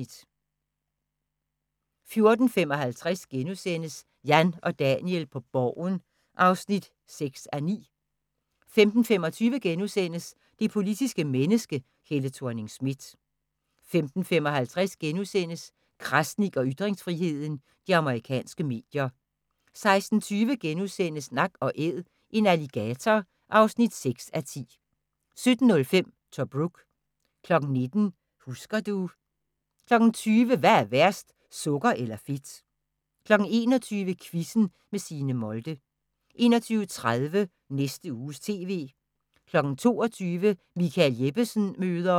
14:55: Jan og Daniel på Borgen (3:9)* 15:25: Det politiske menneske – Helle Thorning-Schmidt * 15:55: Krasnik og ytringsfriheden: De amerikanske medier * 16:20: Nak & Æd – en alligator (6:10)* 17:05: Tobruk 19:00: Husker du ... 20:00: Hvad er værst – sukker eller fedt? 21:00: Quizzen med Signe Molde 21:30: Næste Uges TV 22:00: Michael Jeppesen møder ...